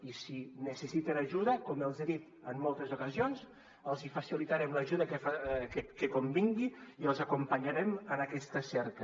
i si necessiten ajuda com els he dit en moltes ocasions els facilitarem l’ajuda que convingui i els acompanyarem en aquesta cerca